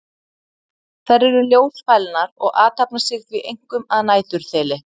Þær eru ljósfælnar og athafna sig því einkum að næturþeli.